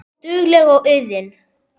Dugleg og iðin.